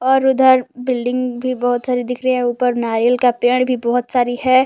और उधर बिल्डिंग भी बहुत सारी दिख रही हैं ऊपर नारियल का पेड़ बहुत सारी हैं।